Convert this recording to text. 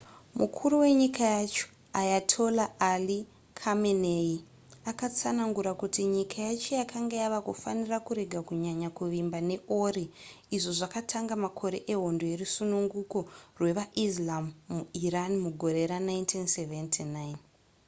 mukuru wenyika yacho ayatollah ali khamenei akatsanangura kuti nyika yacho yakanga yava kufanira kurega kunyanya kuvimba neori izvo zvakatanga makore ehondo yerusununguko rwevaislam muiran mugore ra1979